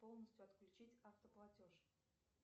полностью отключить автоплатеж